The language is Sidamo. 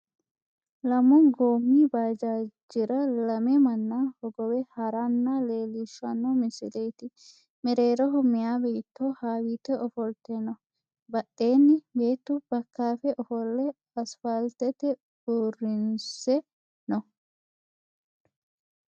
Lamu goommi baajaajira lame manna hogowe haranna leellishshanno misileeti. Mereeroho meyaa beetto hawiite ofolte no. Badheenni beettu bakkaafe ofolle asfaaltete uurrinse no.